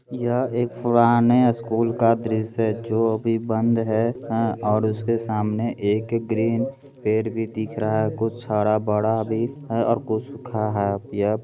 यह एक पुराने स्कूल का दृश्य है जो अभी बंद है आ उसके सामने एक ग्रीन पेड़ भी दिख रहा है कुछ हरा-भरा भी है और कुछ सूखा है। यह --